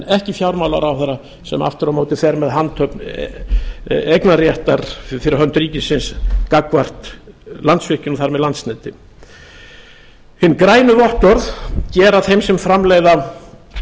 ekki fjármálaráðherra sem aftur á móti fer með handhöfn eignarréttar fyrir hönd ríkisins gagnvart landsvirkjun og þar með landsneti hin grænu vottorð gefa þeim sem framleiða